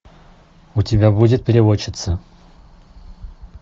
у тебя будет переводчица